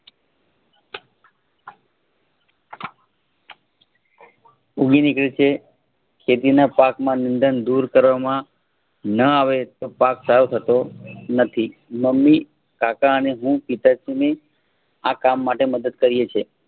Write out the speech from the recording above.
ઉગી નીકળે છે. ખેતીના પાક માં નીદન દૂર કરવા માં ન આવે તો પાક સારો થતો નથી મમ્મી કાકા અને હું પિતાજીને આ કામ માટે મદદ કરીયે છીએ.